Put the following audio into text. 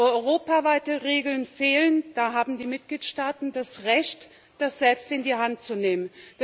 Wo europaweite Regeln fehlen, da haben die Mitgliedstaaten das Recht, das selbst in die Hand zu nehmen.